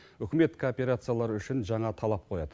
үкімет кооперациялары үшін жаңа талап қояды